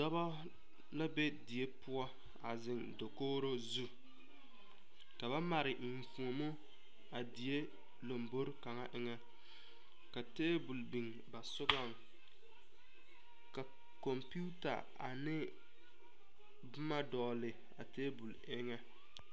Dɔbɔ la be die poɔ a ziŋ takogro zu ka ba mare eŋfuomo a die lambore kaŋa eŋɛ ka tabol biŋ na sɔgɔŋ ka kompita ane boma dɔgle a tabol eŋɛ.